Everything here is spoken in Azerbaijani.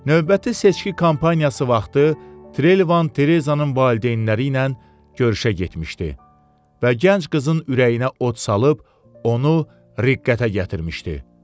Növbəti seçki kampaniyası vaxtı Trelevan Terezzanın valideynləri ilə görüşə getmişdi və gənc qızın ürəyinə od salıb onu riqqətə gətirmişdi.